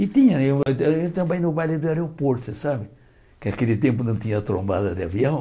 E tinha, eu ah também no baile do aeroporto, sabe, que naquele tempo não tinha trombada de avião.